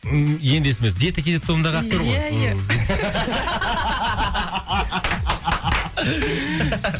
ммм енді есіме түсті диета кз тобындағы актер ғой иә иә